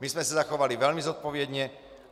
My jsme se zachovali velmi zodpovědně.